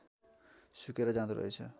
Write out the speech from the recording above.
सुकेर जाँदो रहेछ